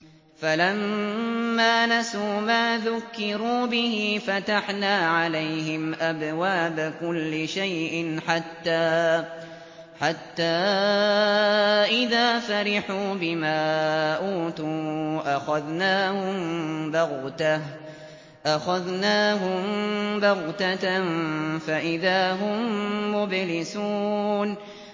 فَلَمَّا نَسُوا مَا ذُكِّرُوا بِهِ فَتَحْنَا عَلَيْهِمْ أَبْوَابَ كُلِّ شَيْءٍ حَتَّىٰ إِذَا فَرِحُوا بِمَا أُوتُوا أَخَذْنَاهُم بَغْتَةً فَإِذَا هُم مُّبْلِسُونَ